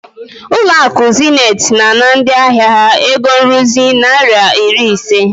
Zenith Bank is charging their customers fifty naira maintenance fee.